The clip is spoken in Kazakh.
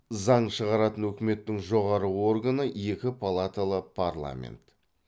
заң шығаратын өкіметтің жоғары органы екі палаталы парламент